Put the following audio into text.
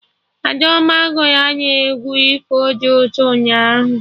Adaoma gụrụ anyị egwu ifo dị ụtọ ụnyaahụ